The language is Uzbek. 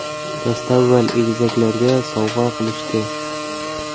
Dastavval egizaklarga sovg‘a qilishdi.